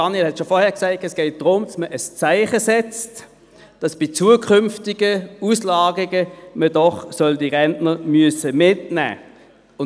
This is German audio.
Daniel Bichsel hat es vorhin bereits gesagt –, dass man ein Zeichen setzt, dahingehend, dass man bei zukünftigen Auslagerungen diese Rentner doch mitnehmen müsse.